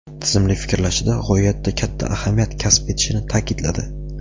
tizimli fikrlashida g‘oyatda katta ahamiyat kasb etishini taʼkidladi.